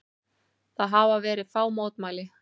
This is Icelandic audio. Það hafa verið fá mótmæli